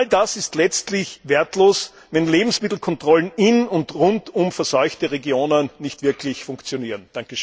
All das ist letztlich wertlos, wenn Lebensmittelkontrollen in und rund um verseuchte Regionen nicht wirklich funktionieren.